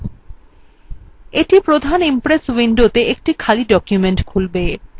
এটি প্রধান impress window একটি খালি ডকুমেন্ট খুলবে